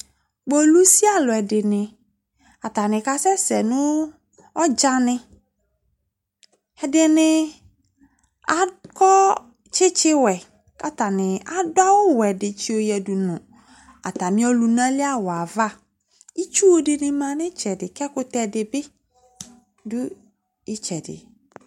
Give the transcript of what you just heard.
Kpolusi alʋɛdɩnɩ, atanɩ kasɛsɛ nʋ ɔdzanɩ Ɛdɩnɩ akɔ tsɩtsɩwɛ kʋ atanɩ adʋ awʋwɛ dɩ tsɩyɔyǝdu nʋ atamɩ ɔlʋna li awʋ yɛ ava Itsu dɩnɩ ma nʋ ɩtsɛdɩ kʋ ɛkʋtɛ dɩ bɩ dʋ ɩtsɛdɩ